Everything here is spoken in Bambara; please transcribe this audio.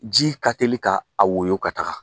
Ji ka teli ka a wolo ka taga